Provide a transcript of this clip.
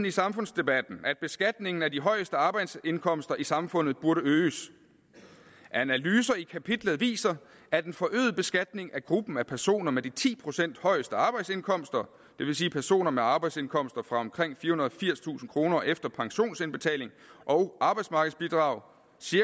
i samfundsdebatten at beskatningen af de højeste arbejdsindkomster i samfundet burde øges analyser i kapitlet viser at en forøget beskatning af gruppen af personer med de ti procent højeste arbejdsindkomster det vil sige personer med arbejdsindkomster på omkring firehundrede og firstusind kroner efter pensionsindbetaling og arbejdsmarkedsbidrag